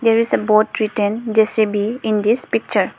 There is a board written J_C_B in this picture.